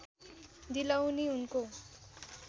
दिलाउने उनको